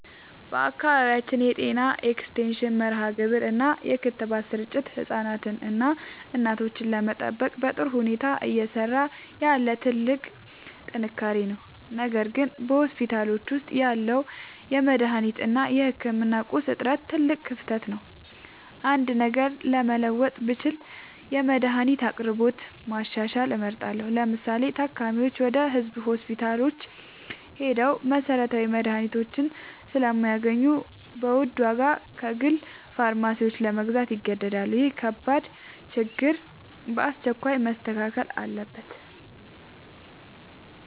በአካባቢያችን የጤና ኤክስቴንሽን መርሃግብር እና የክትባት ስርጭት ህፃናትንና እናቶችን ለመጠበቅ በጥሩ ሁኔታ እየሰራ ያለ ትልቅ ጥንካሬ ነው። ነገር ግን በሆስፒታሎች ውስጥ ያለው የመድኃኒት እና የህክምና ቁሳቁስ እጥረት ትልቅ ክፍተት ነው። አንድ ነገር መለወጥ ብችል የመድኃኒት አቅርቦትን ማሻሻል እመርጣለሁ። ለምሳሌ፤ ታካሚዎች ወደ ህዝብ ሆስፒታሎች ሄደው መሰረታዊ መድኃኒቶችን ስለማያገኙ በውድ ዋጋ ከግል ፋርማሲዎች ለመግዛት ይገደዳሉ። ይህ ከባድ ችግር በአስቸኳይ መስተካከል አለበት።